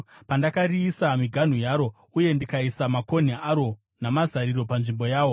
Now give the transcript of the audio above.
pandakariisira miganhu yaro, uye ndikaisa makonhi aro namazariro panzvimbo yawo,